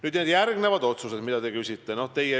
Nüüd need järgmised otsused, mille kohta te küsisite.